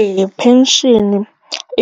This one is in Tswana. Ee, pension